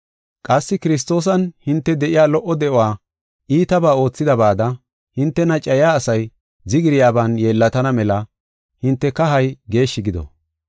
Qassi Kiristoosan hinte de7iya lo77o de7uwa iitabaa oothidabaada, hintena cayiya asay zigiryaban yeellatana mela hinte kahay geeshshi gido.